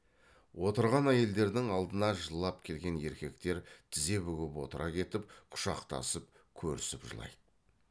отырған әйелдердің алдына жылап келген еркектер тізе бүгіп отыра кетіп құшақтасып көрісіп жылайды